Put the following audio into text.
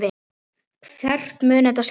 Hvert mun þetta skila mér?